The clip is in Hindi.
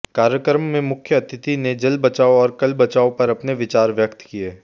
कार्यक्रम में मुख्य अतिथि ने जल बचाओ और कल बचाओ पर अपने विचार व्यक्त किए